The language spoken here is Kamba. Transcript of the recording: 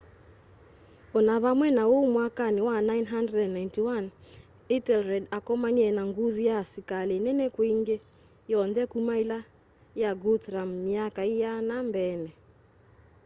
o na vamwe na uu mwakani wa 991 ethelred akomanie na nguthu ya asikali nene kwi ingi yonthe kuma ila ya guthrum myaka iana mbeeni